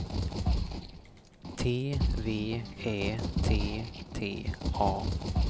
T V Ä T T A